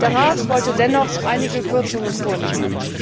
Der Rat wollte dennoch einige Kürzungen vornehmen.